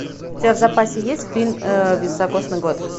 у тебя в запасе есть фильм высокосный год